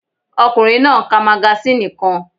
Ọkùnrin náà ń ka magasíìnì kan